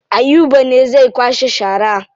Ayuba ne zai kwashe shara.